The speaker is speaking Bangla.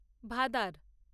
ভাদার